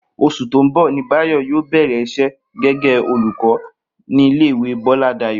Os̩ù tó ń bò̩ ni Báyò̩ yóò bè̩rè̩ is̩é̩ gé̩gé̩ olùkó ní ilé ìwé Bó̩ládayò̩